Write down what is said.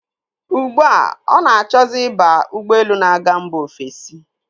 Ugbu a, ọ na-achọzi ịba ụgbọelu na-aga mba ofesi.